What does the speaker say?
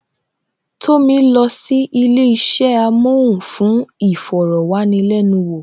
Tomi lọ sí ilé isẹ amohun fún iforowanilenuwo